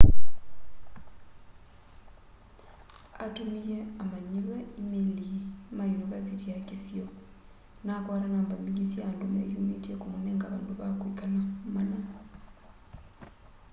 atumiye amanyiwa imeili ma yunivasiti ya kisio na akwata namba mbingi sya andu meyumitye kumunenga vandu va kwikala mana